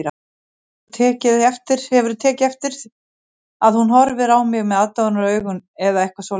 Hefurðu tekið eftir að hún horfi á mig aðdáunaraugum eða eitthvað svoleiðis